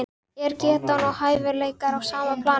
Er getan og hæfileikar á sama plani?